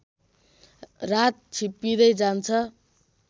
रात छिप्पिँदै जान्छ